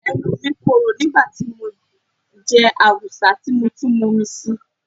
Ẹnu mi korò nígbà tí mo jẹ awùsá tí mo tún mun omi síi.